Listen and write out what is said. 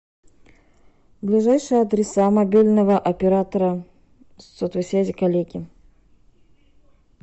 ближайшие адреса мобильного оператора сотовой связи коллеги